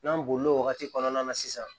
N'an bolila o wagati kɔnɔna na sisan